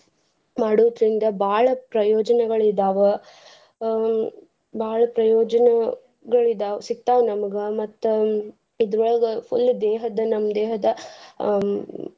ಮಾಡುದ್ರಿಂದ ಬಾಳ್ ಪ್ರಯೋಜನಗಳು ಇದಾವ ಅಹ್ ಬಾಳ್ ಪ್ರಯೋಜನ ಗಳ ಇದಾವ್ ಸಿಕ್ತಾವ ನಮ್ಗ ಮತ್ತ್ ಇದ್ರೊಳಗ full ದೇಹದ್ದ ನಮ್ ದೇಹದ ಅಹ.